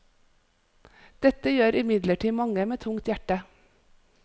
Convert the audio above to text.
Dette gjør imidlertid mange med tungt hjerte.